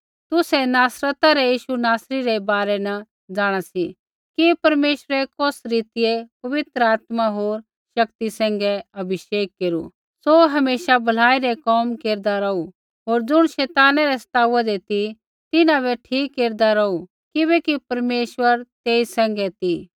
तुसै नासरता रै यीशु नासरी रै बारै न जाँणा सी कि परमेश्वरै कौस रीतियै पवित्र आत्मा होर शक्ति सैंघै अभिषेक केरू सौ हमेशा भलाई रै कोम केरदा रौहू होर ज़ुण शैताना रै सताउदै ती तिन्हां बै ठीक केरदा रौहू किबैकि परमेश्वर तेई सैंघै ती